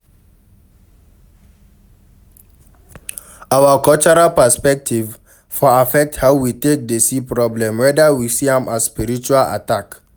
Our cultural perspective for affect how we take dey see problem, weda we see am as spiritual attack